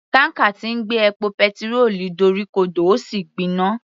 Tanker tí ń gbé epo petirólù dorí ko dò ó sì gbiná.